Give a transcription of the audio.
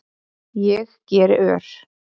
Ég geri ör